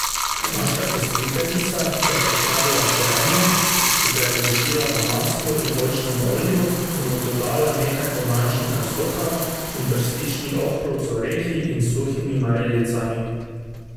Naša gostiteljica je pripravila korenje, ki ga je dušila na maslu in oljčnem olju in mu dodala nekaj pomarančnega soka, in brstični ohrovt z orehi in suhimi marelicami.